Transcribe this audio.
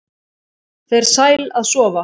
Fer sæl að sofa